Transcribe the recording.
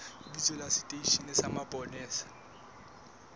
lebitso la seteishene sa mapolesa